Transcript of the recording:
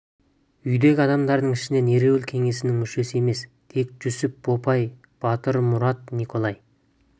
үйдегі адамдардың ішінен ереуіл кеңесінің мүшесі емес тек жүсіп бопай батырмұрат николай